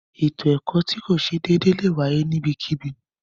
Ètò ẹkọ̀ tó kìí ṣè déédè lẹ wáyé níbẹ̀kíbí.